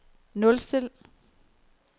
nulstil